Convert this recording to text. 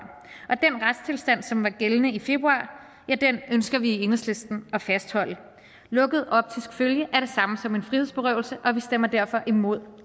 og som var gældende i februar ja den ønsker vi i enhedslisten at fastholde lukket optisk følge er det samme som en frihedsberøvelse og vi stemmer derfor imod